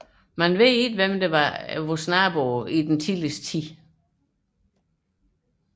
Hvem der var danernes nabo i den tidligste tid vides ikke